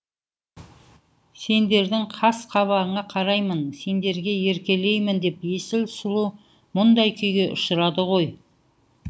сендердің қас қабағыңа қараймын сендерге еркелеймін деп есіл сұлу мұндай күйге ұшырады ғой